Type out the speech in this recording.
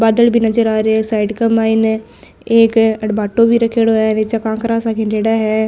बादल भी नजर आ रिया है साइड के माइन एक एड भाटो भी रखेड़ो है नीच कांकरा सा खण्डेडा है।